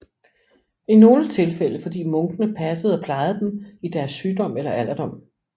I nogle tilfælde fordi munkene passede og plejede dem i deres sygdom eller alderdom